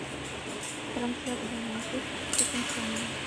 трансляция манчестер с тоттенхэмом